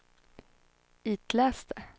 itläs det